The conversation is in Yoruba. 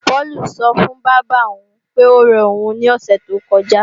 Páùlù sọ fún bábà òun pé óre òun ní òsè tó kọjá